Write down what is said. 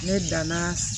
Ne danna